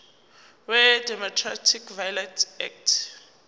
wedomestic violence act